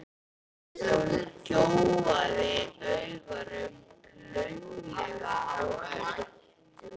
Hún gjóaði augunum laumulega á Örn.